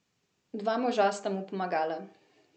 Dva moža sta mu pomagala.